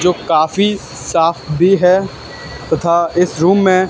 जो काफी साफ भी है तथा इस रूम में--